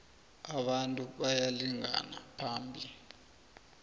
abantu bayalingana phambi